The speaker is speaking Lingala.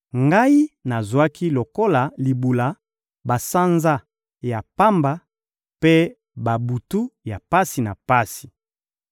ngai nazwaki lokola libula, basanza ya pamba mpe babutu ya pasi na pasi.